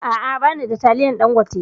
A'a, ba ni da taliyan Ɗangote.